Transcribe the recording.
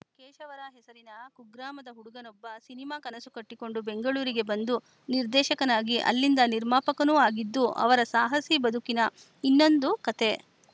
ಕೇಶವರ ಹೆಸರಿನ ಕುಗ್ರಾಮದ ಹುಡುಗನೊಬ್ಬ ಸಿನಿಮಾ ಕನಸು ಕಟ್ಟಿಕೊಂಡು ಬೆಂಗಳೂರಿಗೆ ಬಂದು ನಿರ್ದೇಶಕನಾಗಿ ಅಲ್ಲಿಂದ ನಿರ್ಮಾಪಕನೂ ಆಗಿದ್ದು ಅವರ ಸಾಹಸಿ ಬದುಕಿನ ಇನ್ನೊಂದು ಕತೆ